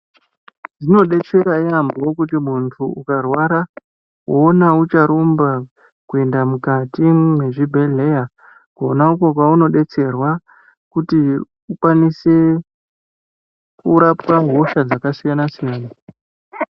Zvinodetsera yaamho kuti muntu ukarwara voona ucharumba kuenda mukati mwezvibhedhleya. kona uko kwaunodetserwa kuti ukwanise kurapwa hosha dzakasiyana-siyana.